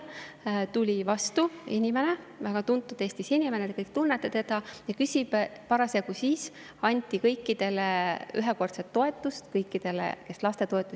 Seal tuli mulle vastu Eestis väga tuntud inimene, te kõik tunnete teda, ja parasjagu anti ühekordset toetust kõikidele,.